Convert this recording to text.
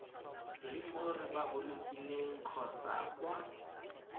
le mo repaboliking kgotsa kwa